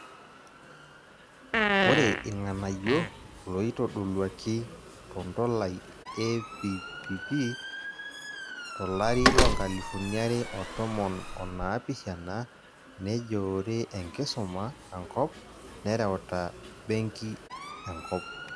Ore irng'anayio looitodoluaki tondolai ePPP tolari loonkalifunia are otomon onaapishana, nejoore enkisuma ankop nereuta benki enkop.